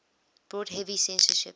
brought heavy censorship